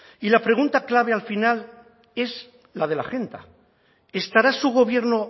y la pregunta clave al final es la de la agenda estará su gobierno